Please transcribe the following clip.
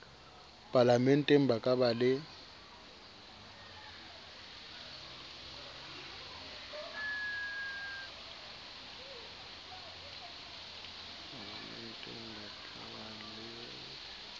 palamenteng ba ka ba le